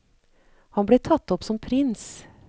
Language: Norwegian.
Han ble tatt opp som prins.